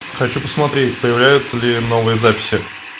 хочу посмотреть появляются ли новые записи